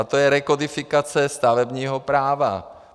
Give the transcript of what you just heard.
A to je rekodifikace stavebního práva.